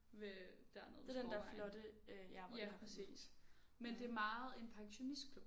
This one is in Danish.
Ved dernede ved Skovvejen ja præcis. Men det er meget en pensionistklub